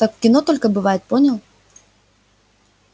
так в кино только бывает понял